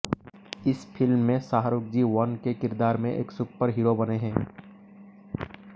इस फिल्म में Shahrukh G one के किरदार में एक सुपर हीरों बने हैं